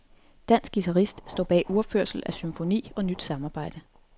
Dansk guitarist står bag uropførsel af symfoni og nyt samarbejde.